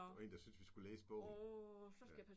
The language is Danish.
Der var en der syntes vi skulle læse bogen. Ja